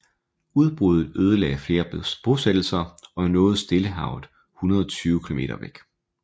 Udbruddet ødelagde flere bosættelser og nåede Stillehavet 120 km væk